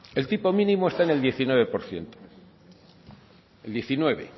el tipo mínimo está en el diecinueve por ciento el diecinueve